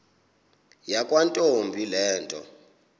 yakwantombi le nto